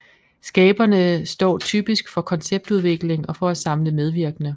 Skaberne står typisk for konceptudviklingen og for at samle medvirkende